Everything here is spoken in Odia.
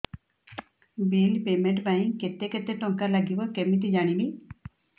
ବିଲ୍ ପେମେଣ୍ଟ ପାଇଁ କେତେ କେତେ ଟଙ୍କା ଲାଗିବ କେମିତି ଜାଣିବି